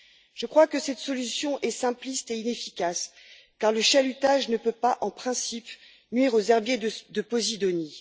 Je crois que cette solution est simpliste et inefficace car le chalutage ne peut pas, en principe, nuire aux herbiers de posidonie.